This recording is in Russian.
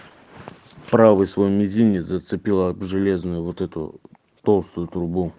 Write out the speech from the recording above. правый свой мизинец зацепила железную вот эту толстую трубу